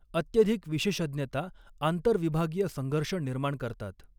अत्यधिक विशेषज्ञता आंतर विभागीय संघर्ष निर्माण करतात.